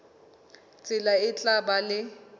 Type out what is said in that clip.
tsela e tla ba le